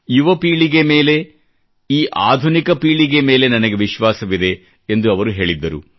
ಯುವ ಪೀಳಿಗೆ ಮೇಲೆ ಈ ಆಧುನಿಕ ಪೀಳಿಗೆ ಮೇಲೆ ನನಗೆ ವಿಶ್ವಾಸವಿದೆ ಎಂದು ಅವರು ಹೇಳಿದ್ದರು